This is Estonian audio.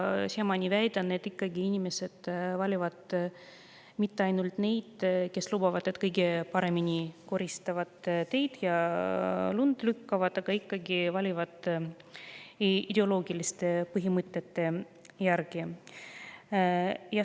Ma väidan, et inimesed ei vali mitte ainult neid, kes lubavad kõige paremini teid koristada ja lund lükata, vaid valitakse ikkagi ideoloogiliste põhimõtete järgi.